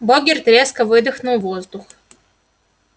богерт резко выдохнул воздух